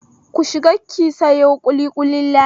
Ki shiga ki sayo ƙuliƙulin Lami!